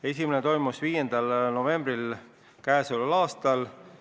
Esimene toimus 5. novembril käesoleval aastal.